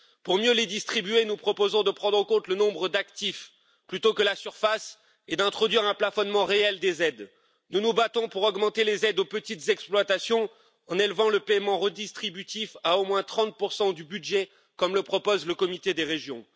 Pour mieux distribuer ces fonds, nous proposons de prendre en compte le nombre d'actifs plutôt que la surface et d'introduire un plafonnement réel des aides. Nous nous battons pour augmenter les aides aux petites exploitations en élevant le paiement redistributif à au moins 30 du budget, comme le propose le Comité des régions.